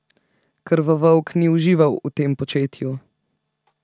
Krvovolk ni užival v tem početju.